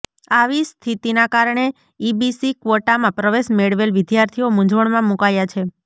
આવી સ્થિતીના કારણે ઈબીસી ક્વોટામાં પ્રવેશ મેળવેલ વિદ્યાર્થીઓ મૂઝવણમાં મૂકાયા છે